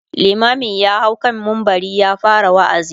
limamin ya hau kan mumbari ya fara waazi